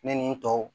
Ne ni n tɔw